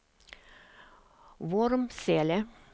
Vormsele